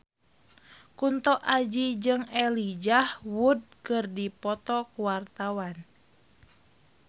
Kunto Aji jeung Elijah Wood keur dipoto ku wartawan